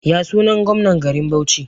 Yasunan gomnan garin Bauchi?